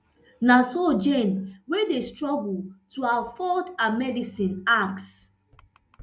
na so jane wey dey struggle to afford her medicine ask